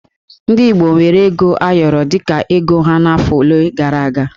Ndị Igbo weere ego ayọrọ dị ka ego ha n'afọ ole gara aga